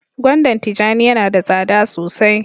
gwandan tijani Yana da tsada sosai.